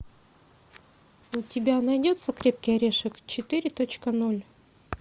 у тебя найдется крепкий орешек четыре точка ноль